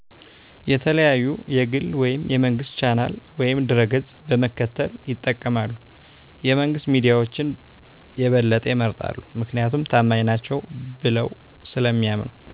የተለያዩ የግል ወይም የመንግስት ቻናል ወይም ድረገፅ በመከተል ይጠቀማሉ። የመንግስት ሚዳዎችን የበለጠ ይመርጣሉ ምክንያቱም ታማኝ ናቸው ብለው ስለሚያምኑ።